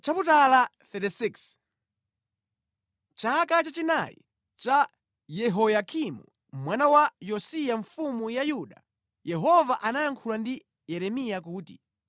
Chaka chachinayi cha Yehoyakimu mwana wa Yosiya mfumu ya Yuda, Yehova anayankhula ndi Yeremiya kuti,